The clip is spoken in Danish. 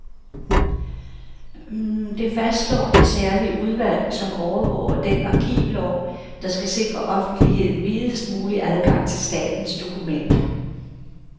Det fastslår det særlige udvalg, som overvåger den arkivlov, der skal sikre offentligheden videst mulig adgang til statens dokumenter.